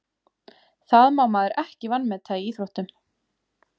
Það má maður ekki vanmeta í íþróttum.